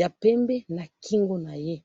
ya pembe na kingo naye